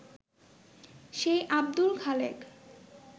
সেই আব্দুল খালেক